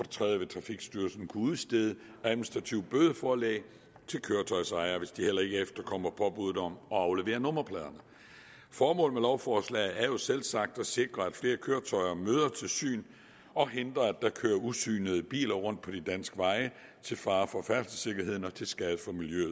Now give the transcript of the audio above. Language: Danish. tredje vil trafikstyrelsen kunne udstede administrative bødeforelæg til køretøjets ejere hvis de heller ikke efterkommer påbuddet om at aflevere nummerpladerne formålet med lovforslaget er jo selvsagt at sikre at flere køretøjer kommer til syn og at hindre at der kører usynede biler rundt på de danske veje til fare for færdselssikkerheden og til skade for miljøet